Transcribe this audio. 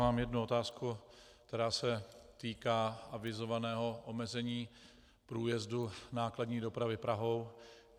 Mám jednu otázku, která se týká avizovaného omezení průjezdu nákladní dopravy Prahou.